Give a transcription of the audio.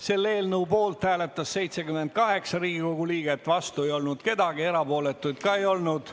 Selle eelnõu poolt hääletas 78 Riigikogu liiget, vastu ei olnud keegi, erapooletuid ka ei olnud.